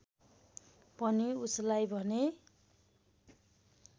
पनि उसलाई भने